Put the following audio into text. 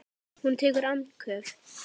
Hún tekur andköf.